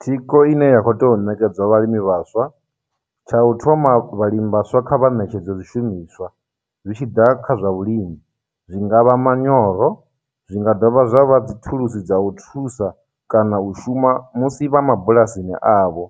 Thikho ine ya khou tea u ṋekedzwa vhalimi vhaswa. Tsha u thoma vhalimi vhaswa kha vha ṋetshedzwe zwishumiswa zwi tshi ḓa kha zwa vhulimi, zwi nga vha manyoro, zwi nga dovha zwa vha dzithulusi dza u thusa kana u shuma musi vha mabulasini avho,